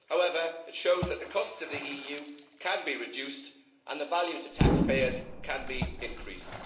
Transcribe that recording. However, it shows that the costs of the EU can be reduced and the value to taxpayers can be increased.